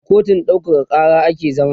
a kotun ɗaukaka Kara ake zaman